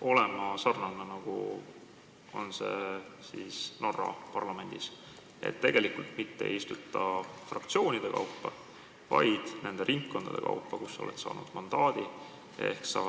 olema sarnane sellega, nagu see on Norra parlamendis, st ei istuta mitte fraktsioonide kaupa, vaid ringkondade kaupa, kust on mandaadid saadud?